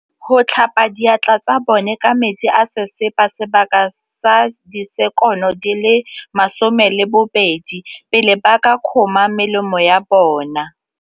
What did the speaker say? Go tlhapa diatla tsa bone ka metsi a sesepa sebaka sa disekono di le 20, pele ba ka kgoma melemo ya bona.